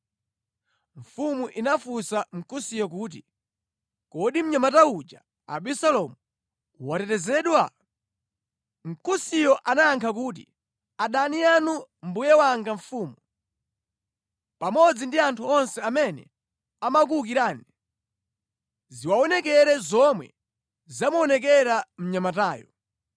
Mfumu inafunsa Mkusiyo kuti, “Kodi mnyamata uja Abisalomu watetezedwa?” Mkusiyo anayankha kuti, “Adani anu mbuye wanga mfumu, pamodzi ndi anthu onse amene amakuwukirani, ziwaonekere zomwe zamuonekera mnyamatayo.”